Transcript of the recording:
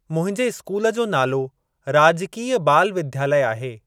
मुंहिंजे स्कूल जो नालो राजकीय बाल विद्यालय आहे।